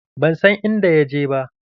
Ban san inda ya je ba.